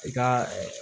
I ka